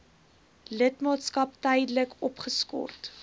lidmaatskap tydelik opgeskort